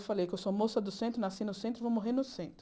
Eu falei que sou moça do centro, nasci no centro e vou morrer no centro.